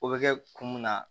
O bɛ kɛ kun mun na